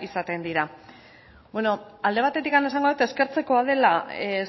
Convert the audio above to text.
izaten dira bueno alde batetik esango dut eskertzeko dela